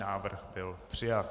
Návrh byl přijat.